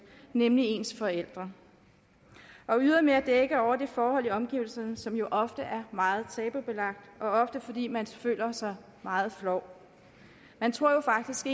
nemlig ens forældre og ydermere dække over det forhold i omgivelserne som jo ofte er meget tabubelagt og ofte fordi man føler sig meget flov man tror jo faktisk